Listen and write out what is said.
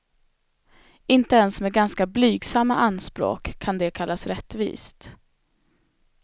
Inte ens med ganska blygsamma anspråk kan det kallas rättvist.